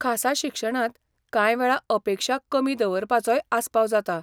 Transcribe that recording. खासा शिक्षणांत कांय वेळा अपेक्षा कमी दवरपाचोय आसपाव जाता.